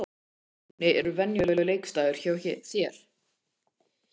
Hvernig er venjulegur leikdagur hjá þér?